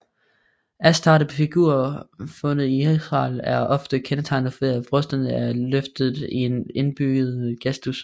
Astartefigurer fundet i Israel er ofte kendetegnet ved at brysterne er løftet i en indbydende gestus